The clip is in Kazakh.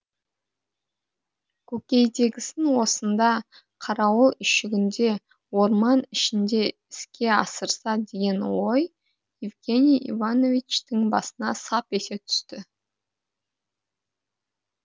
көкейдегісін осында қарауыл үйшігінде орман ішінде іске асырса деген ой евгений ивановичтың басына сап ете түсті